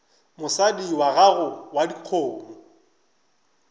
mosadi wa gago wa dikgomo